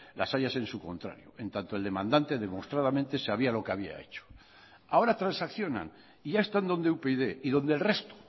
las hay a sensu contrario en tanto el demandante demostradamente sabía lo que había hecho ahora transaccionan y ya están donde upyd y donde el resto